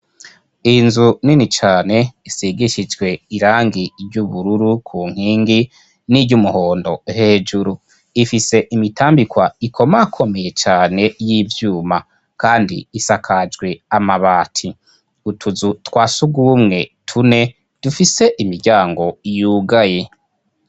inzu nini cane isigishijwe irangi ry'ubururu ku nkingi n'iry'umuhondo hejuru ifise imitambikwa ikoma komeye cyane y'ibyuma kandi isakajwe amabati utuzu twasuguumwe tune dufise imiryango yugaye